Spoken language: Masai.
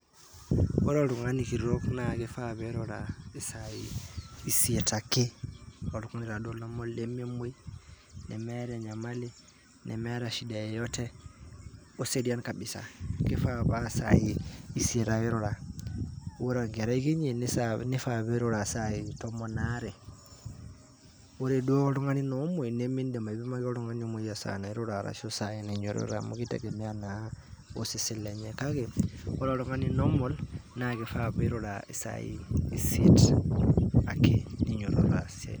Ore oltungani kitok naa kifaa pirura isai isiet ake , oltungani taa duo lememwoi ,nemeeta enyamali , nemeeta shida yeyote ,oserian kabisa. Kifaa paa isai isiet ake irura .ore enkerai kinyi nifaa pirura isai tomon aare. Ore duo oltungani naa omwoi nimindim aipimaki nai esaa nairura ashu esaa nainyiototore amu kitegemea naa osesen lenye. kake ore oltungani normal naa kifaa pirura isai isiet ake ninyototo aas esiaai.